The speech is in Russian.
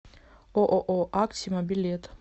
ооо аксима билет